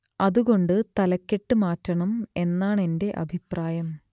അതുകൊണ്ട് തലക്കെട്ട് മാറ്റണം എന്നാണെന്റെ അഭിപ്രായം